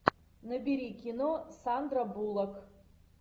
набери кино сандра буллок